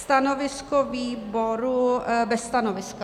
Stanovisko výboru: bez stanoviska.